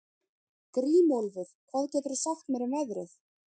Grímólfur, hvað geturðu sagt mér um veðrið?